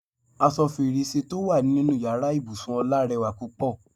Aṣọ fèrèsé tó wà nínú ìyára ibùsùn Ọlá rẹwà púpọ̀.